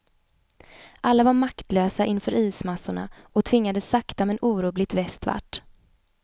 Alla var maktlösa inför ismassorna och tvingades sakta men orubbligt västvart.